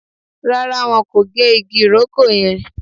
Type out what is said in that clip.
Rárá, wọn kò gé igi ìrókò yẹn